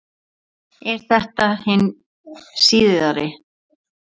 Er þetta hin síðari